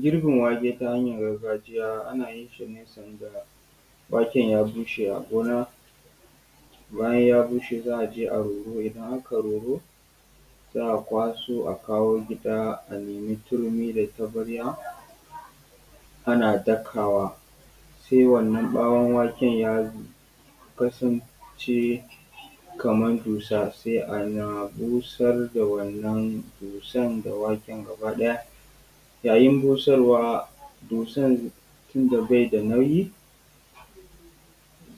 Girbin wake ta hanyan gargajiya ana yin shi ne sanda wake ya bushe a gona. Bayan ya bushe za a je a yi roro, idan aka yi roro, za a kwaso a kawo gida a nemi turmi da taɓarya ana dakawa sai wannan ɓawon waken ya kasance kamar dussa, sai ana busar da wannan dussan da waken gaba ɗaya. Yayin busarwa dussan tunda bai da nauyi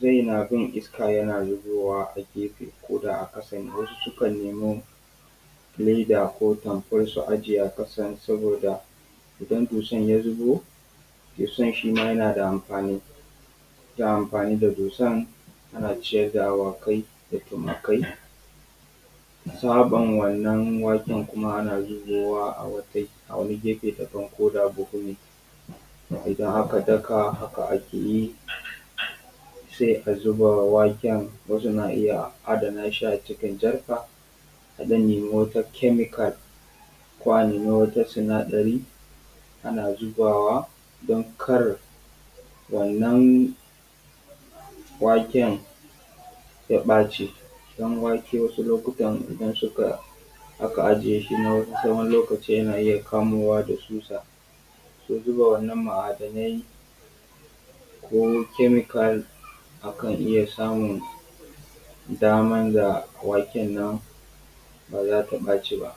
zai na bin iska yana zubowa a gefe guda a ƙasan wasu sukan nemo leda ko tampol su ajiye a ƙasan saboda idan dussan ya zubo, dussan shi ma yana da amfani. Ana amfani da dusan ana ciyar da awakai da tumakai. Saɓan wannan waken kuma ana zubowa a wani gefe daban koda buhu ne idan aka daka, Haka ake yi sai a zuba waken. Wasu na iya adana shi a cikin jarka, akan nemi wata chemical ko a nemi wata sinadari, ana zubawa don kar wannan waken ya ɓaci. Don wake wasu lokutan idan suka aka aje shin a tsawon lokaci yana iya kamuwa da tsutsa. So zuba wannan ma'adanai ko wani chemical, akan iya samun daman da waken nan ba za su ɓaci ba.